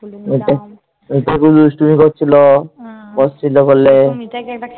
দুষ্টুমি করছিল